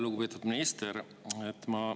Lugupeetud minister!